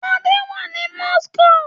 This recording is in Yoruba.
Adé wà ní Moscow.